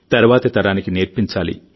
తరువాతి తరానికి నేర్పించాలి